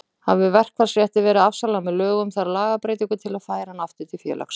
Hafi verkfallsrétti verið afsalað með lögum þarf lagabreytingu til að færa hann aftur til félagsins.